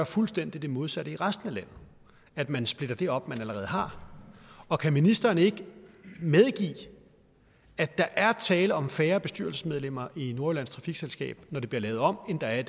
fuldstændig modsatte i resten af landet at man splitter det op man allerede har og kan ministeren ikke medgive at der er tale om færre bestyrelsesmedlemmer i nordjyllands trafikselskab når det bliver lavet om end der er